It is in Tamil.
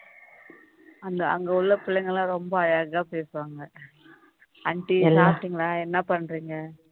அந்த அங்கு உள்ள பிள்ளைங்கல்லாம் ரொம்ப அழகா பேசுவாங்க aunty சாபிட்டீன்களா என்ன பண்றீங்க